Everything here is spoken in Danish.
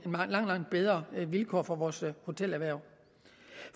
langt langt bedre vilkår for vores hotelerhverv